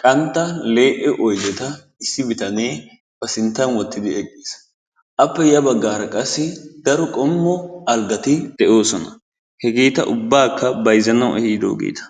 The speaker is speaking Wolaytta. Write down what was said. qantta lee'e oydeta issi bitanee ba sinttan wottidi eqqiis. Appe ya baggaara qassi daro qommo algati de'oosona. Hegeeta ubbaakka bayzzanawu ehiiddogeeta.